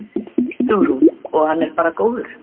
Hugrún: Og hann er bara góður?